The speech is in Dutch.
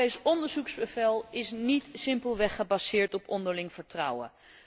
Het Europees onderzoeksbevel is niet simpelweg gebaseerd op onderling vertrouwen.